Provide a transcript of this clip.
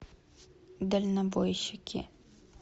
дальнобойщики